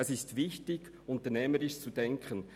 Es ist wichtig, unternehmerisch zu denken.